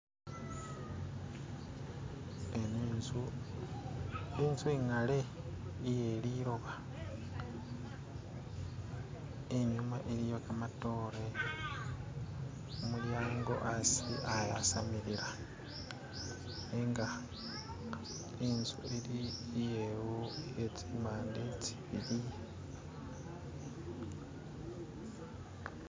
Ano inzu, inzu ingale iye liloba, inyuma iliyo kamatoore, mumulyango asi ayasamilila nenga intsu ili iye tsimande tsibili.